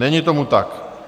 Není tomu tak.